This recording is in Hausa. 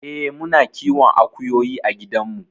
Eh muna kiwon akuyoyi a gidan mu.